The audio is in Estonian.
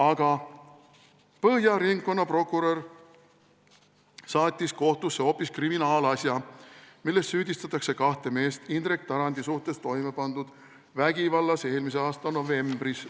Aga Põhja ringkonnaprokurör saatis kohtusse hoopis kriminaalasja, milles süüdistatakse kahte meest Indrek Tarandi vastu toime pandud vägivallas üle-eelmise aasta novembris.